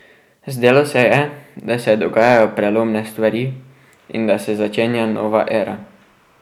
Zdelo se je, da se dogajajo prelomne stvari in da se začenja nova era.